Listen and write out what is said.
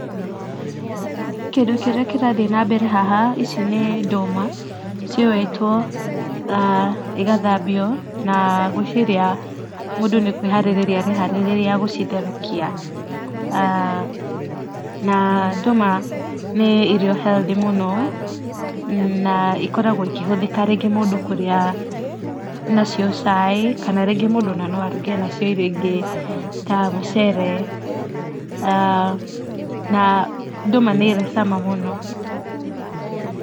Kĩndũ kĩrĩa kĩrathiĩ na mbere haha, ici nĩ ndũma ciũĩtwo na igathambio na ngwĩciria mũndũ nĩ kũĩharĩrĩria areharĩrĩria gũcitherũkia. Na ndũma nĩ irio healthy mũno na ikoragwo ikĩhũthĩka rĩngĩ mũndũ kũrĩa nacio cai kana rĩngĩ mũndũ no aruge nacio irio ingĩ ta mucere. Na ndũma nĩ ĩrĩ cama mũno.